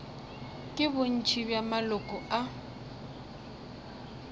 ke bontši bja maloko a